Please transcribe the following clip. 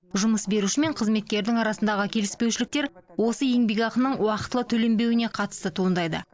жұмыс беруші мен қызметкердің арасындағы келіспеушіліктер осы еңбекақының уақытылы төленбеуіне қатысты туындайды